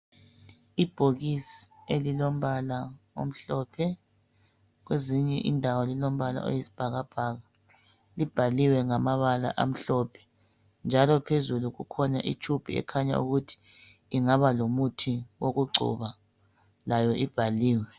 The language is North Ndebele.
Ibhokisi elilombala omhlophe kwezinye indawo lilombala oyisibhakabhaka, libhaliwe ngamabala amhlophe njalo phezulu kukhona itshubhu ekhanya ukuthi ingaba lomuthi wokugcoba layo ibhaliwe.